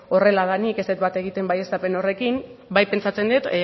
horrela denik ez dut bat egiten baieztapen horrekin bai pentsatzen dut